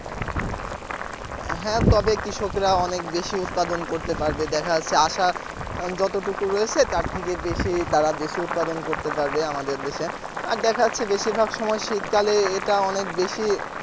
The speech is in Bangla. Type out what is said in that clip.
হ্যাঁ তবে কৃষকেরা অনেক বেশি উৎপাদন করতে পারবে দেখা যাচ্ছে আসা যতটুকু রয়েছে তার থেকে বেশি তারা দেশে উৎপাদন করতে পারবে আমাদের দেশে আর দেখা যাচ্ছে বেশিরভাগ সময় শীতকালে এটা অনেক বেশি